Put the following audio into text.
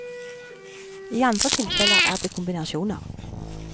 I andre tilfeller er det kombinasjoner.